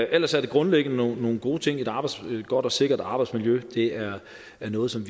ellers er det grundlæggende nogle gode ting et godt og sikkert arbejdsmiljø er noget som